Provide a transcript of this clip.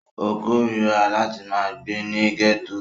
Ó kóríra láti ma gbé ní gẹ́tò